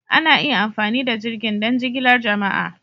Ana iya amfani da jirgin don jigilar jama'a.